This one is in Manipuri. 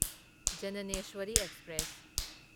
ꯖꯅꯅꯦꯁ꯭ꯋꯔꯤ ꯑꯦꯛꯁꯄ꯭ꯔꯦꯁ